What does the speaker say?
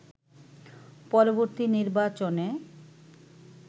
পরবর্তী নির্বাচনে